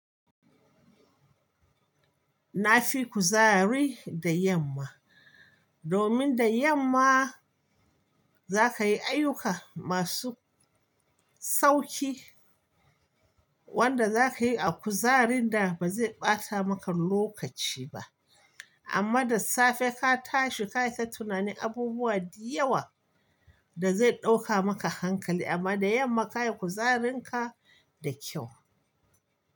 Na fi kuzari da yamma, domin da yamma za ka yi ayyuka masu sauƙi wanda za ka yi a kuzarin da ba zai ɓata maka lokaci ba. Amma da safe ka tashi ka yi ta tunani abubuwa da yawa da zai ɗauka maka hankali amma da yamma ka yi kuzarin ka da kyau.